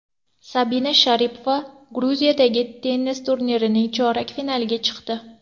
Sabina Sharipova Gruziyadagi tennis turnirining chorak finaliga chiqdi.